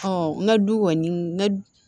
n ka du kɔni n ka